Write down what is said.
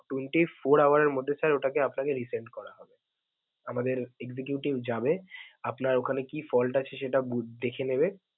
twenty four hours এর মধ্যে sir ওটাকে আপনাকে resend করা হবে. আমাদের executive যাবে, আপনার ওখানে কি fault আছে সেটা দেখে নেবে.